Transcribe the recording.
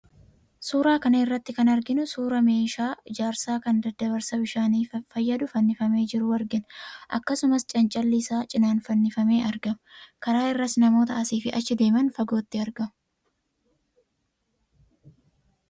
Suuraa kana irratti kan arginu suuraa meeshaa ijaarsaa kan daddabarsa bishaaniif fayyadu fannifamee jiru argina. Akkasumas, cancalli isa cinaan fannifamee argama. Karaa irras namoota asii fi achi deeman fagootti argamu.